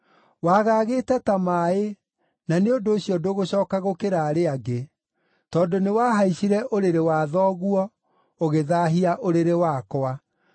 Wagagĩte ta maaĩ, na nĩ ũndũ ũcio ndũgũcooka gũkĩra arĩa angĩ, tondũ nĩwahaicire ũrĩrĩ wa thoguo, ũgĩthaahia ũrĩrĩ wakwa.